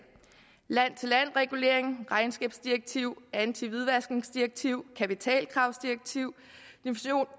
land til land regulering regnskabsdirektiv antihvidvaskningsdirektiv kapitalkravsdirektiv